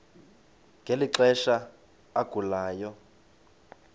ngeli xesha agulayo